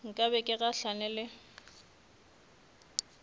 nka be ke gahlane le